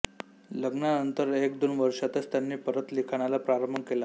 लग्नानंतर एक दोन वर्षांतच त्यांनी परत लिखाणाला आरंभ केला